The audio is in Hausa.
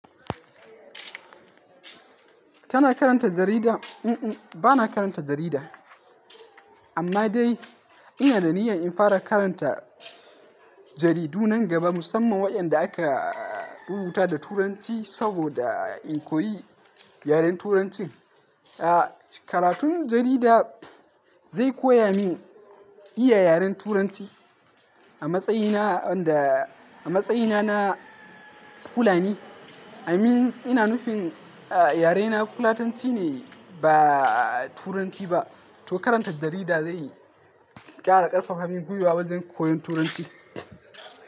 Kana karanta jarida? Mm, bana karanta jarida. Amma dai ina da niyyar in fara karanta jaridu nan gaba, musamman waɗanda aka rubuta da Turanci saboda in koyi yaren Turancin. A, karatun jarida zai koya min iya yaren Turanci. A matsayina, a matsayina na Fulani. I mean, ina nufin a yarena Fulatanci ne ba Turanci ba. To karanta jarida zai ƙara ƙarfafa min gwiwa wajen koyon Turanci.